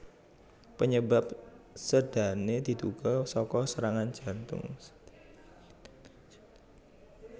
Panyebab sédané diduga saka serangan jantung